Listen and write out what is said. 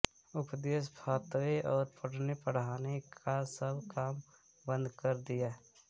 उपदेश फतवे ओर पढ़नेपढ़ाने का सब काम बन्द कर दिया